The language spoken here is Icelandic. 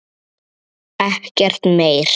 Ekkert meir.